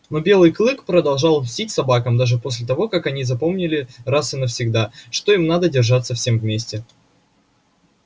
но белый клык продолжал мстить собакам даже после того как они запомнили раз и навсегда что им надо держаться всем вместе